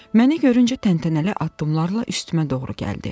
Məni görüncə təntənəli addımlarla üstümə doğru gəldi.